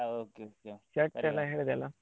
ಹೌದು .